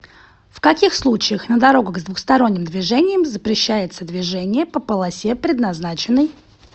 в каких случаях на дорогах с двухсторонним движением запрещается движение по полосе предназначенной